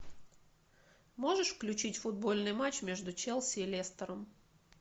можешь включить футбольный матч между челси и лестером